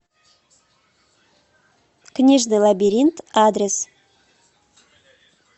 книжный лабиринт адрес